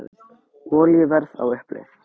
Olíuverð á uppleið